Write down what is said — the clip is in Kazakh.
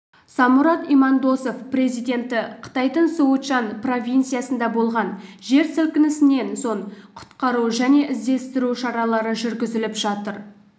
самұрат имандосов президенті қытайдың сычуань провинциясында болған жер сілкінісінен соң құтқару және іздестіру шаралары жүргізіліп жатыр